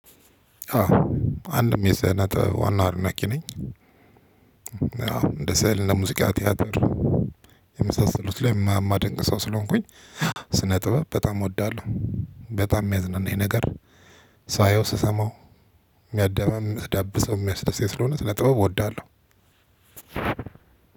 አንድም የስነጥበብ ዋናው አድናቂ ነኝ። ያው እንደ ስዕል እንደ ሙዚቃ ቲያትር የመሳሰሉት ላይ ማድንቅ ሰው ስለሆንኩኝ። ስነ ጥበብ በጣም እወዳለሁ። በጣም የሚያዝናናኝ ነገር ሳየው ስሰማው የሚያደባብስ ስለሆነ ስነጥበብ እውዳለው።